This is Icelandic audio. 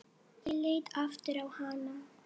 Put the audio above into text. Ég leit aftur á hana.